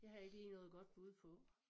Det har jeg ikke lige noget godt bud på